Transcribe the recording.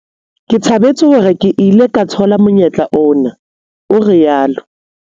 "Ke thabetse hore ke ile ka thola monyetla ona," o ile a rialo.